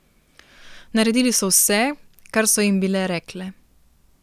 Naredili so vse, kar so jim bile rekle.